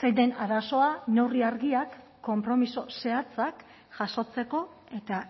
zein den arazoa neurri argiak konpromiso zehatzak jasotzeko eta